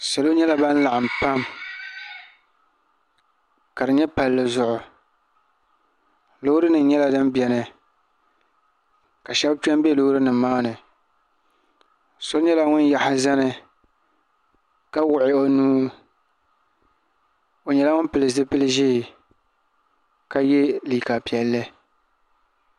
salo nyɛla ban laɣim pam ka di nyɛ palizuɣ' lorinim nyɛla din bɛni ka shɛbi kpɛ bɛ lorinim maa ni so nyɛla ŋɔ yaɣisi zani ka wuɣ' o nuu o nyɛla ŋɔ pɛli zupili ʒiɛ ka yɛ liga piɛli